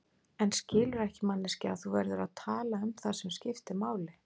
En skilurðu ekki manneskja að þú verður að tala um það sem skiptir máli.